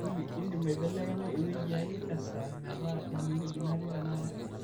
olly indim aibelekenya ewueji ai tesaa metaa enewueji natii tenakata